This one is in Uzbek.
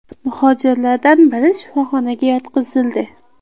Muhojirlardan biri shifoxonaga yotqizildi.